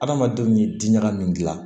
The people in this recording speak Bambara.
Adamadenw ye diɲɛnka min dilan